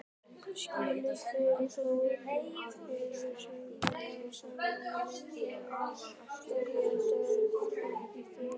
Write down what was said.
Skrýtið hve fáir eru hrifnir af samhverfum myndum og margir geta ekki þolað þær.